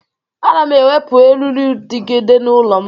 Ana m ewepụ eririudegide n'ụlọ m